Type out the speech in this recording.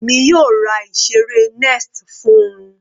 Èmi yóò ra ìseré nest fún-un.